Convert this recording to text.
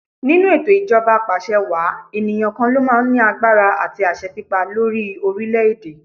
Nínú ètò ijoba Apàṣẹwàá, ènìyàn kan lo máa ń ní agbára àti àṣẹ pípa lórí orílẹ̀ èdè.